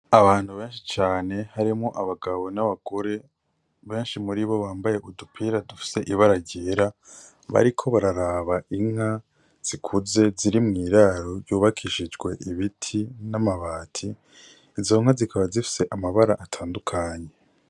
Abantu benshi cane harimwo abagabo n' abagore benshi muribo bambaye udupira dufise ibara ryera bariko barabara inka zikuze ziri mw'iraro ryubakishijwe ibiti n' amabati, izo nka zikaba zifise amabara atandukanye.